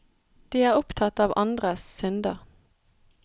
De er opptatt av andres synder.